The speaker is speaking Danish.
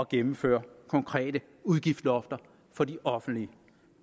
gennemføre konkrete udgiftslofter for de offentlige